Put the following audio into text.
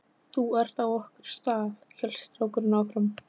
Þú ert á okkar stað, hélt strákurinn áfram.